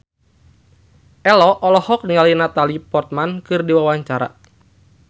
Ello olohok ningali Natalie Portman keur diwawancara